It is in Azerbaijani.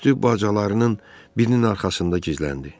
Tüstü bacalarının birinin arxasında gizləndi.